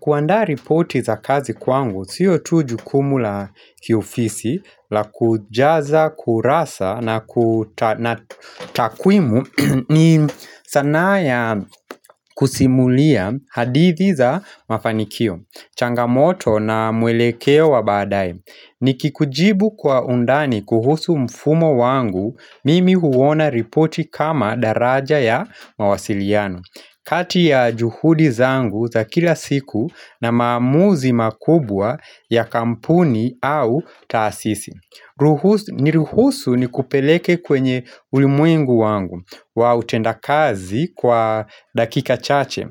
Kuandaa ripoti za kazi kwangu sio tu jukumu la kiofisi la kujaza kurasa na takwimu ni sanaa ya kusimulia hadithi za mafanikio, changamoto na mwelekeo wa baadae. Nikikujibu kwa undani kuhusu mfumo wangu mimi huona ripoti kama daraja ya mawasiliano kati ya juhudi zangu za kila siku na maamuzi makubwa ya kampuni au taasisi Niruhusu nikupeleke kwenye ulimwengu wangu wa utendakazi kwa dakika chache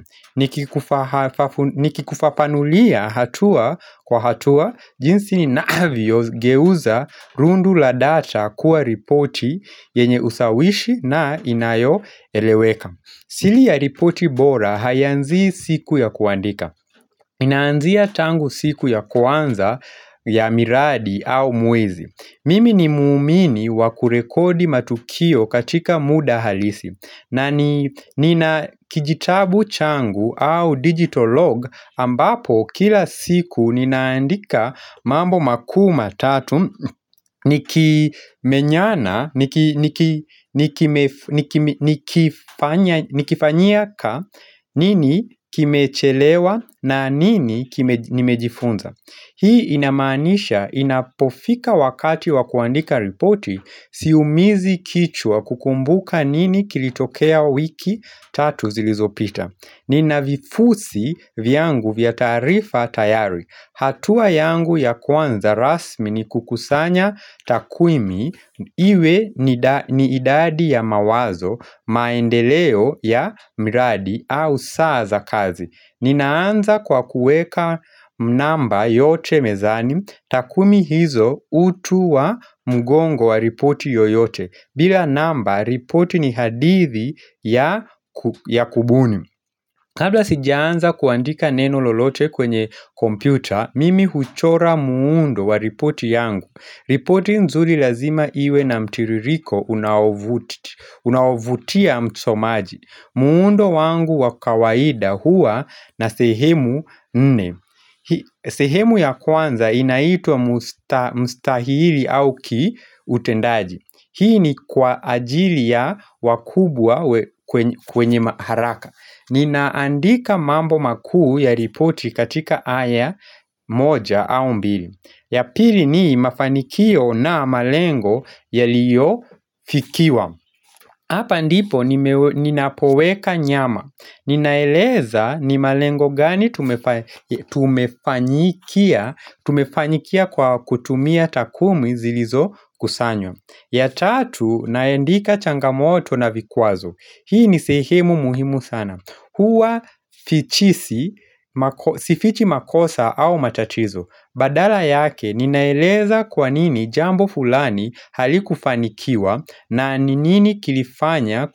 Nikikufafanulia hatua kwa hatua jinsi ninavyogeuza rundo la data kuwa ripoti yenye ushawishi na inayoeleweka siri ya ripoti bora haiyanzi siku ya kuandika Inanzia tangu siku ya kwanza ya miradi au mwezi Mimi ni muumini wa kurekodi matukio katika muda halisi na nina kijitabu changu au digital log ambapo kila siku ninaandika mambo makuu matatu nikifanyia ka nini kimechelewa na nini nimejifunza Hii inamaanisha inapofika wakati wa kuandika ripoti siumizi kichwa kukumbuka nini kilitokea wiki tatu zilizopita Nina vifusi vyangu vya tarifa tayari hatua yangu ya kwanza rasmi ni kukusanya takwimu iwe ni idadi ya mawazo maendeleo ya miradi au saa za kazi Ninaanza kwa kuweka namba yote mezani takwimu hizo utu wa mgongo wa ripoti yoyote bila namba ripoti ni hadithi ya kubuni Kabla sijaanza kuandika neno lolote kwenye kompyuta Mimi huchora muundo wa ripoti yangu ripoti nzuri lazima iwe na mtiririko unaovutia msomaji muundo wangu wa kawaida huwa na sehemu nne. Sehemu ya kwanza inaitwa mustahili au kiutendaji. Hii ni kwa ajili ya wakubwa kwenye haraka. Ninaandika mambo makuu ya ripoti katika aya moja au mbili. Ya pili ni mafanikio na malengo yaliyofikiwa Hapa ndipo ninapoweka nyama Ninaeleza ni malengo gani tumefanyikia kwa kutumia takwimu zilizokusanywa ya tatu naandika changamoto na vikwazo Hii ni sehemu muhimu sana Huwa sifichi, sifichi makosa au matatizo Badala yake ninaeleza kwa nini jambo fulani halikufanikiwa na nini kilifanya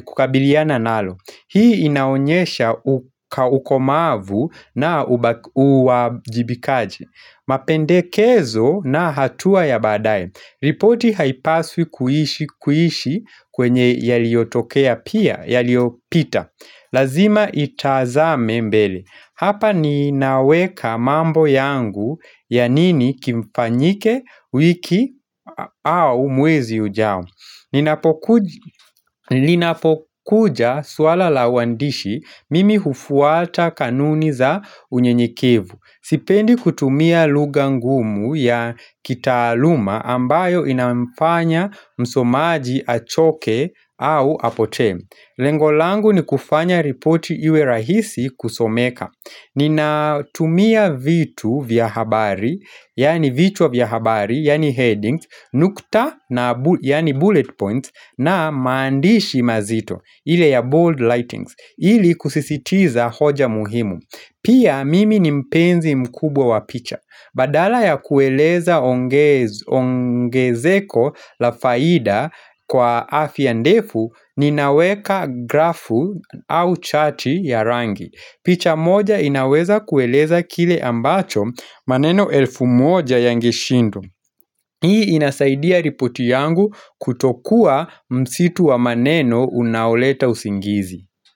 kukabiliana nalo Hii inaonyesha ukomavu na uwajibikaji mapendekezo na hatua ya badae ripoti haipaswi kuishi kwenye yaliotokea pia yaliyopita Lazima itazame mbele Hapa ninaweka mambo yangu ya nini kifanyike wiki au mwezi ujao Linapokuja swala la uandishi mimi hufuata kanuni za unyenyekevu Sipendi kutumia lugha ngumu ya kitaaluma ambayo inamfanya msomaji achoke au apotee Lengo langu ni kufanya ripoti iwe rahisi kusomeka Ninatumia vitu vya habari, yani vitu vya habari, yani headings, nukta, yani bullet points, na maandishi mazito, ile ya bold lightings, ili kusisitiza hoja muhimu Pia mimi ni mpenzi mkubwa wa picha, badala ya kueleza ongezeko la faida kwa aya ndefu, ninaweka grafu au chati ya rangi picha moja inaweza kueleza kile ambacho maneno elfu moja yangeshindwa. Hii inasaidia ripoti yangu kutokuwa msitu wa maneno unaoleta usingizi.